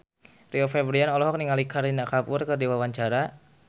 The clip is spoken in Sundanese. Rio Febrian olohok ningali Kareena Kapoor keur diwawancara